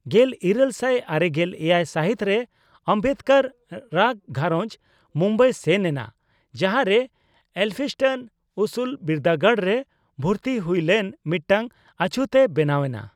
ᱜᱮᱞ ᱤᱨᱟᱹᱞ ᱥᱟᱭ ᱟᱨᱮᱜᱮᱞ ᱮᱭᱟᱭ ᱥᱟᱦᱤᱛ ᱨᱮ ᱚᱢᱵᱮᱫᱠᱟᱨ ᱨᱟᱜ ᱜᱷᱟᱸᱨᱚᱡᱽ ᱵᱩᱢᱵᱟᱭ ᱥᱮᱱ ᱮᱱᱟ, ᱡᱟᱦᱟᱸᱨᱮ ᱮᱞᱯᱷᱤᱥᱴᱚᱱ ᱩᱥᱩᱞ ᱵᱤᱨᱫᱟᱹᱜᱟᱲ ᱨᱮ ᱵᱷᱩᱨᱛᱤ ᱦᱩᱭ ᱞᱮᱱ ᱢᱤᱫᱴᱟᱝ ᱚᱪᱷᱩᱛ ᱮ ᱵᱮᱱᱟᱣ ᱮᱱᱟ᱾